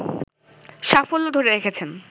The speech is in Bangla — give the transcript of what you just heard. সাফল্য ধরে রেখেছেন